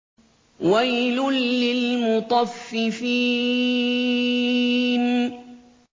وَيْلٌ لِّلْمُطَفِّفِينَ